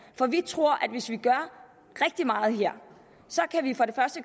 for vi tror at hvis vi gør rigtig meget her